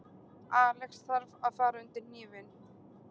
Alex þarf að fara undir hnífinn